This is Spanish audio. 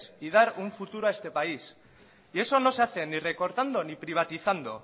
y dar un futuro a este país y eso no se hace ni recortando ni privatizando